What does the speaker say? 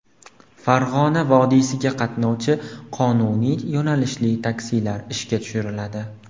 Farg‘ona vodiysiga qatnovchi qonuniy yo‘nalishli taksilar ishga tushiriladi.